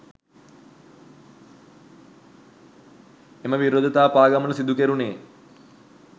එම විරෝධතා පාගමන සිදු කෙරුණේ